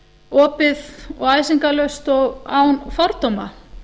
opið og æsingarlaust og án fordóma